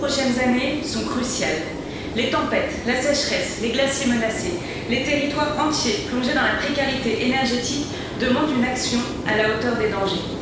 Les dix prochaines années sont cruciales les tempêtes, la sécheresse, les glaciers menacés, les territoires entiers plongés dans la précarité énergétique demandent une action à la hauteur des dangers.